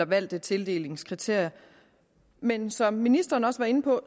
valgte tildelingskriterier men som ministeren også var inde på